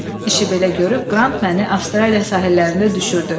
İşi belə görüb Qrant məni Avstraliya sahillərində düşürdü.